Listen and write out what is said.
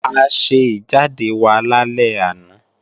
A ṣe ìjáde wa lálẹ́ àná